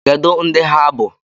Kedu ndị ha bụ?